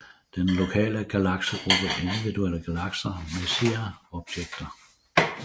Den lokale galaksegruppe Individuelle galakser Messier objekter